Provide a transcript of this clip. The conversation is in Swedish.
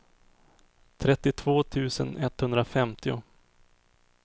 trettiotvå tusen etthundrafemtio